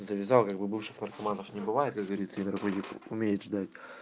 завязал как бы бывших наркоманов не бывает говорится и другое умеет ждать